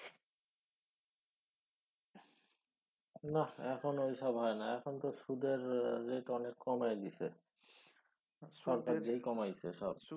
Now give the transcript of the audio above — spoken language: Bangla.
না এখন ওইসব হয়না। এখন তো সুদের rate অনেক কমায়া দিসে। সরকারেই কমাইসে সব।